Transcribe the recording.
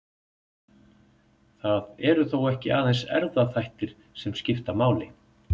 Það eru þó ekki aðeins erfðaþættir sem skipta máli.